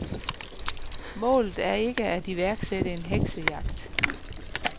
Målet er ikke at iværksætte en heksejagt.